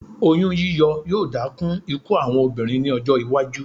Oyún yíyọ yóò dá kún ikú àwọn obìnrin ní ọjọ́-iwájú.